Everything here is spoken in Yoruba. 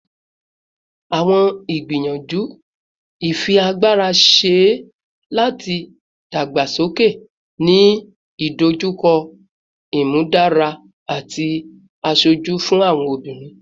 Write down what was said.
Awọn igbiyanju ifiagbara ṣee ṣe lati dagbasoke, ni idojukọ imudara imudara ati aṣoju fun awọn obinrin